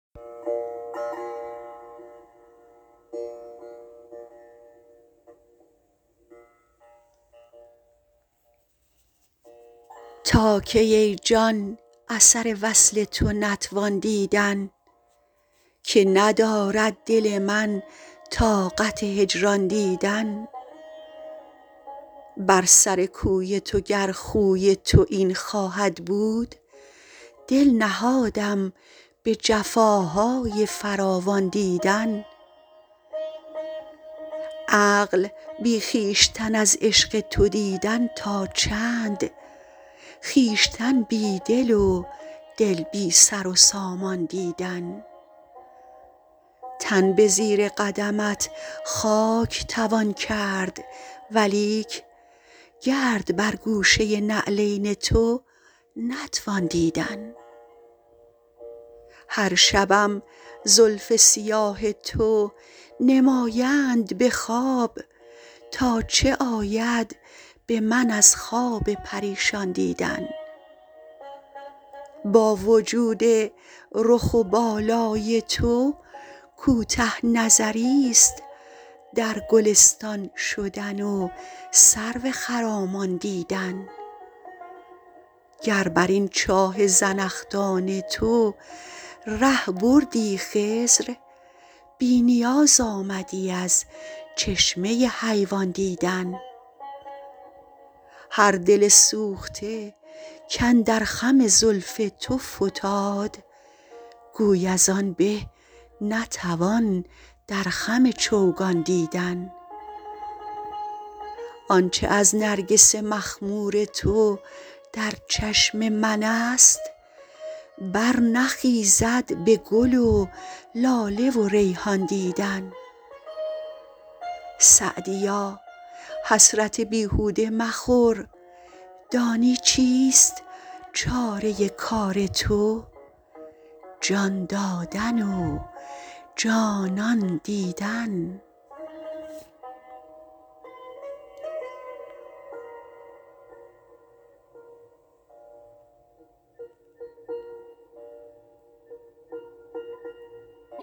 تا کی ای جان اثر وصل تو نتوان دیدن که ندارد دل من طاقت هجران دیدن بر سر کوی تو گر خوی تو این خواهد بود دل نهادم به جفاهای فراوان دیدن عقل بی خویشتن از عشق تو دیدن تا چند خویشتن بی دل و دل بی سر و سامان دیدن تن به زیر قدمت خاک توان کرد ولیک گرد بر گوشه نعلین تو نتوان دیدن هر شبم زلف سیاه تو نمایند به خواب تا چه آید به من از خواب پریشان دیدن با وجود رخ و بالای تو کوته نظریست در گلستان شدن و سرو خرامان دیدن گر بر این چاه زنخدان تو ره بردی خضر بی نیاز آمدی از چشمه حیوان دیدن هر دل سوخته کاندر خم زلف تو فتاد گوی از آن به نتوان در خم چوگان دیدن آن چه از نرگس مخمور تو در چشم من است برنخیزد به گل و لاله و ریحان دیدن سعدیا حسرت بیهوده مخور دانی چیست چاره کار تو جان دادن و جانان دیدن